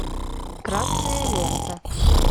красная лента